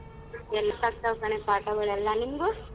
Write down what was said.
ಆಗ್ತಾವ್ ಕಣೆ ಪಾಠಗಳೆಲ್ಲ ನಿಮ್ದು?